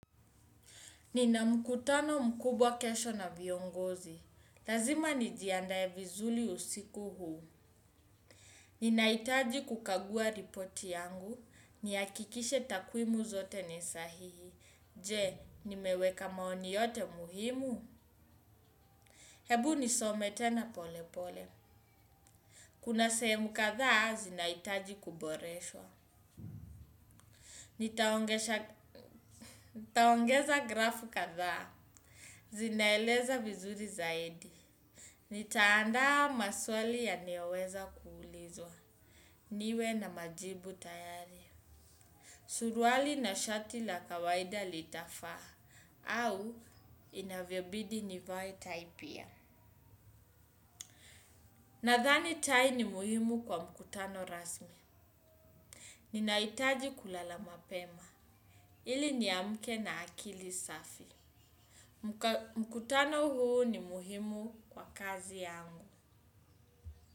Nina mkutano mkubwa kesho na viongozi. Lazima nijiandae vizuri usiku huu. Ninahitaji kukagua ripoti yangu. Nihakikishe takwimu zote ni sahihi. Je, nimeweka maoni yote muhimu? Hebu nisome tena pole pole. Kuna sehemu kadhaa zinahitaji kuboreshwa. Nitaongeza grafu katha. Zinaeleza vizuri zaidi. Nitaanda maswali yanayoweza kuulizwa. Niwe na majibu tayari. Surwali na shati la kawaida litafaa. Au inavyobidi nivae tai pia. Nadhani tai ni muhimu kwa mkutano rasmi. Ninahitaji kulala mapema. Ili niamke na akili safi. Mkutano huu ni muhimu kwa kazi yangu.